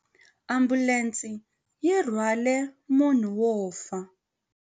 Ambulense yi rhwarile munhu wo fa.